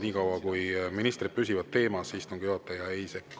Nii kaua, kuni ministrid püsivad teemas, istungi juhataja ei sekku.